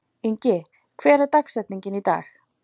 Ingi, hver er dagsetningin í dag?